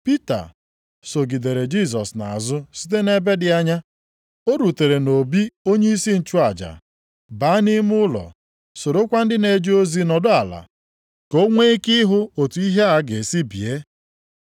Pita sogidere Jisọs nʼazụ site nʼebe dị anya. O rutere nʼobi onyeisi nchụaja, baa nʼime ụlọ, sorokwa ndị na-eje ozi nọdụ ala, ka o nwe ike ịhụ otu ihe a ga-esi bie.